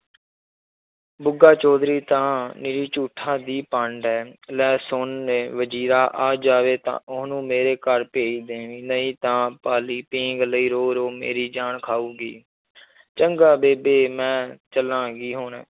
ਬੁੱਗਾ ਚੌਧਰੀ ਤਾਂ ਨਿਰੀ ਝੂਠਾਂ ਦੀ ਪੰਡ ਹੈ ਲੈ ਸੁਣ ਲੇ ਵਜ਼ੀਰਾ ਆ ਜਾਵੇ ਤਾਂ ਉਹਨੂੰ ਮੇਰੇ ਘਰ ਭੇਜ ਦੇਵੀਂ ਨਹੀਂ ਤਾਂ ਪਾਲੀ ਪੀਂਘ ਲਈ ਰੋ ਰੋ ਮੇਰੀ ਜਾਨ ਖਾਊਗੀ ਚੰਗਾ ਬੇਬੇ ਮੈਂ ਚੱਲਾਂਗੀ ਹੁਣ।